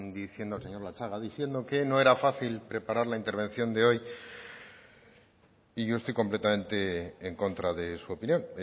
diciendo el señor latxaga diciendo que no era fácil preparar la intervención de hoy y yo estoy completamente en contra de su opinión